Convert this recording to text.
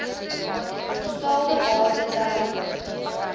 betaalde bate ter